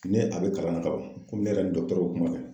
Ni a bɛ kalan na kaban, komi ne yɛrɛ ni dɔgɔtɔrɔw y'o kuma kɛ.